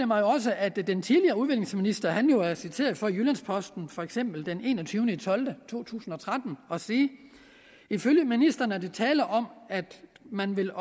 mig også at den tidligere udviklingsminister er citeret for i jyllands posten for eksempel den en og tyve tolv 2013 at sige ifølge ministeren er der tale om at man vil